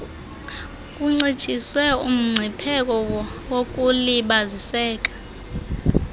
kuncitshiswe umgcipheko wokulibaziseka